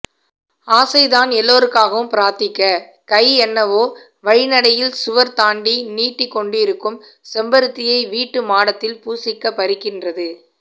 ஆசைதான் எல்லோருக்காகவும் பிரார்த்திக்க கைஎன்னவோ வழிநடையில் சுவர் தாண்டி நீட்டிக்கொண்டிருக்கும் செம்பருத்தியை வீட்டு மாடத்தில் பூசிக்கப் பறிக்கிறது